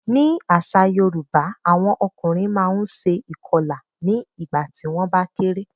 Ní àṣà Yorùbá, àwọn ọkùnrin máa ṣe ìkọlà nígbà tí wón bá kéré.